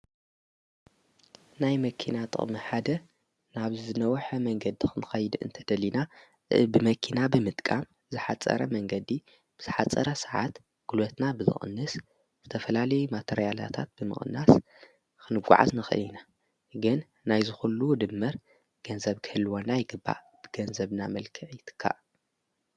ናይ መኪና ጥቕሚ ሓደ ናብ ዝነውሐ መንገዲ ኽንኸይድ እንተደሊና ብመኪና ብምጥቃ ዝሓፀረ መንገዲ ብዝሓፀረ ሰዓት ግልቦትና ብዝቕንስ ዝተፈላለዩ ማተርያላታት ብምቕናስ ኽንጐዓዝ ንኽእል ኢና። ግን ናይ ዝዂሉ ድምር ገንዘብ ክህልወና ይግባእ ብገንዘብና መልክዕ ይትካእ።